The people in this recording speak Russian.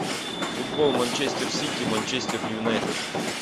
футбол манчестер сити манчестер юнайтед